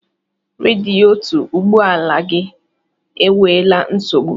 Radiyetọ ụgbọ ala gi enweela nsogbụ